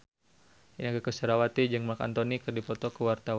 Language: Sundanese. Inneke Koesherawati jeung Marc Anthony keur dipoto ku wartawan